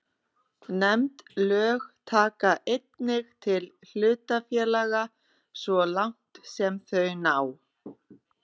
Nefnd lög taka einnig til hlutafélaga svo langt sem þau ná.